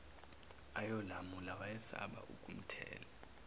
ayolamula wayesaba ukumthela